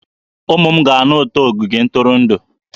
Ụmụ m ga-anụ ụtọ ogige ntụrụndụ